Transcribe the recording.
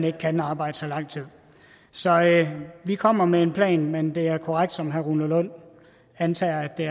ikke kan arbejde så lang tid så vi kommer med en plan men det er korrekt som herre rune lund antager at det